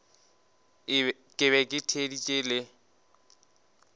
ke be ke theeditše le